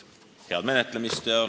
Head menetlemist!